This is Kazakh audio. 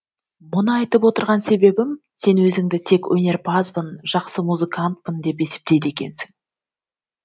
мұны айтып отырған себебім сен өзіңді тек өнерпазбын жақсы музыкантпын деп есептейді екенсің